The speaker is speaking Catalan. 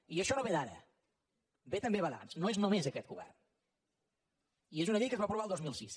i això no ve d’ara ve també d’abans no és només aquest govern i és una llei que es va aprovar el dos mil sis